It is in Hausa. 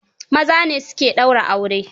Maza ne su ke daura aure.